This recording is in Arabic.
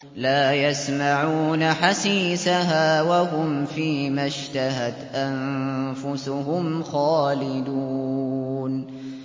لَا يَسْمَعُونَ حَسِيسَهَا ۖ وَهُمْ فِي مَا اشْتَهَتْ أَنفُسُهُمْ خَالِدُونَ